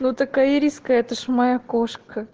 ну такая ириска это же моя кошка